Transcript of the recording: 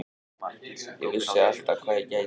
Ég vissi alltaf hvað ég gæti.